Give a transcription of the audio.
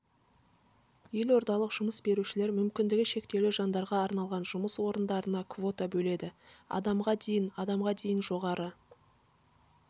елордалық жұмыс берушілер мүмкіндігі шектеулі жандарға арналған жұмыс орындарына квота бөледі адамға дейін адамға дейін жоғары